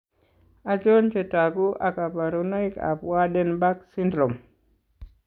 Achon chetogu ak kaborunoik ab Waardenburg syndrome?